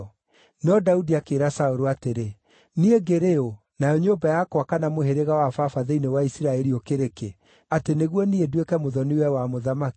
No Daudi akĩĩra Saũlũ atĩrĩ, “Niĩ ngĩrĩ ũ, nayo nyũmba yakwa kana mũhĩrĩga wa baba thĩinĩ wa Isiraeli, ũkĩrĩ kĩ, atĩ nĩguo niĩ nduĩke mũthoni-we wa mũthamaki?”